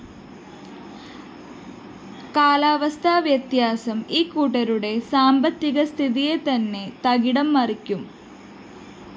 കാലാവസ്ഥാ വ്യതിയാനം ഇക്കൂട്ടരുടെ സാമ്പത്തിക സ്ഥിതിയെതന്നെ തകിടംമറിക്കും